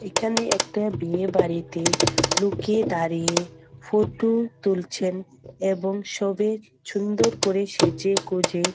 এখানে একটা বিয়ে বাড়িতে লোকে দাঁড়িয়ে ফটো তুলছেন এবং সবে সুন্দর করে সেজে গুঁজে--